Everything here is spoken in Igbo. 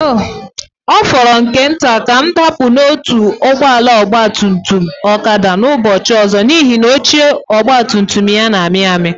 Ọ fọrọ nke nta ka m dapụ n'otu ọgba tum tum Okada ụbọchị ọzọ, n'ihi na oche ọgba tum tum ya na-amị amị.